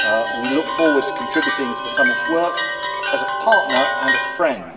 We look forward to contributing to the summit's work as a partner and a friend.